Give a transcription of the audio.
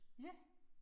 Ja